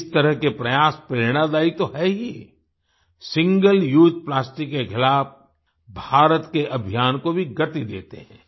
इस तरह के प्रयास प्रेरणादायी तो है ही सिंगल उसे प्लास्टिक के खिलाफ भारत के अभियान को भी गति देते हैं